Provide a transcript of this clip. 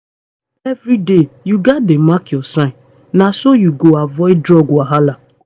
every day you gats dey mark your signs. na so you go avoid drug wahala